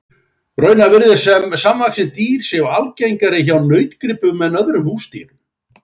Raunar virðist sem samvaxin dýr séu algengari hjá nautgripum en öðrum húsdýrum.